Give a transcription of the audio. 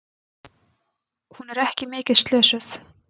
Hún er ekki mikið slösuð.